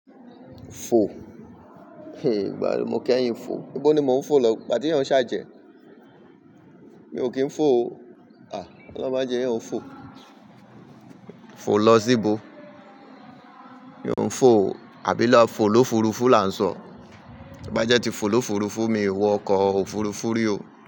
Fo. Ìgbà wo ni mo k'ẹyin fò? Ibò ni mò ń fò lọ? Ìgbà tí ẹ̀yan o n ṣàjẹ́. Mi ò kí ń fò o. À! Ọlọ́un ma je ẹ̀yan o fò. Fò lọ sí ibo? Mi ò ń fò o, àbí lọ fò l'ófurufú là ń sọ? To bá jẹ́ tí fò l'ófurufú mi o wọ ọkọ̀ òfurufú rí o.